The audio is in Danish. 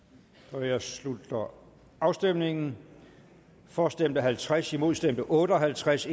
jeg slutter afstemningen for stemte halvtreds imod stemte otte og halvtreds